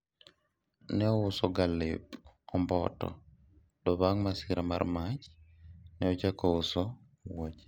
ne ouso ga lep omboto to bang' masira mar mach, ne ochako uso wuoche